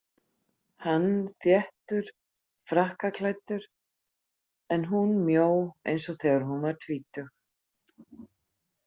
Hann þéttur frakkaklæddur en hún mjó eins og þegar hún var tvítug.